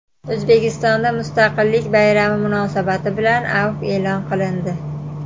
O‘zbekistonda mustaqillik bayrami munosabati bilan afv e’lon qilindi.